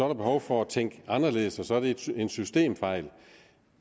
der behov for at tænke anderledes og så er det en systemfejl